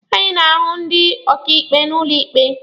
Anyị na-ahụ ndị ọkaịkpe n'ụlọ ikpe.